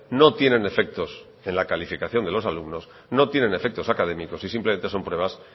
no tienen efectos en la calificación de los alumnos no tienen efectos académicos y simplemente son pruebas